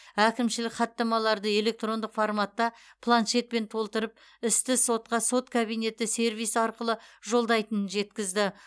әкімшілік хаттамаларды электрондық форматта планшетпен толтырып істі сотқа сот кабинеті сервисі арқылы жолдайтынын жеткізді